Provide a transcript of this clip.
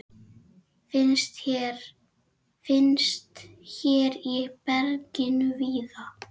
Finnst hér í berginu víða.